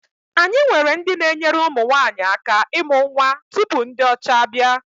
Anyị nwere ndị na-enyere ụmụ nwaanyi aka imụ nnwa tupu ndị ọcha abịa.